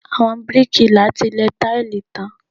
Àwọn bíríkìlà ti lẹ táìlì tán.